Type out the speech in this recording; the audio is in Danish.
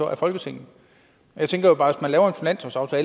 er folketinget jeg tænker jo bare